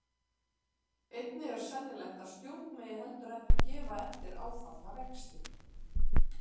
Einnig er sennilegt að stjórn megi heldur ekki gefa eftir áfallna vexti.